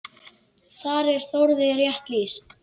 Þar er Þórði rétt lýst.